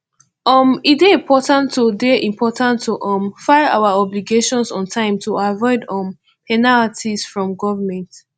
um e dey important to dey important to um file our obligations on time to avoid um penalties from government